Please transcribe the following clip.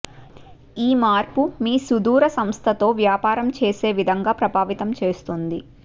ఈ మార్పు మీ సుదూర సంస్థతో వ్యాపారం చేసే విధంగా ప్రభావితం చేస్తుంది